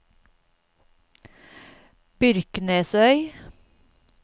Byrknesøy